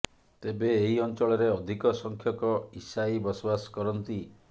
ତେବେ ଏହି ଅଞ୍ଚଳରେ ଅଧିକ ସଂଖ୍ୟକ ଇସାଇ ବସବାସ କରନ୍ତି